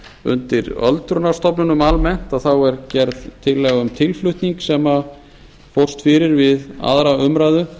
undir öldrunarstofnunum almennt er gerð tillaga um tilflutning sem fórst fyrir við aðra umræðu